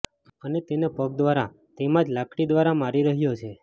અને તેને પગ દ્વારા તેમાં જ લાકડી દ્વારા મારી રહ્યો છે